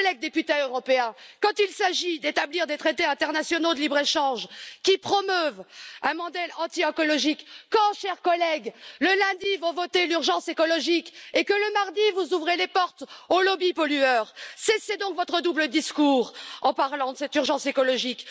Collègues députés européens, quand il s'agit d'établir des traités internationaux de libre échange qui promeuvent un modèle anti écologique, quand le lundi vous votez l'urgence écologique et que le mardi vous ouvrez les portes aux lobbies pollueurs, cessez donc votre double discours en parlant de cette urgence écologique.